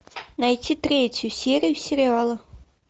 найти третью серию сериала